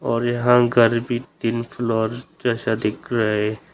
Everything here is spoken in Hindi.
और यहां गाड़ी तीन फ्लोर जैसा दिख रहा है।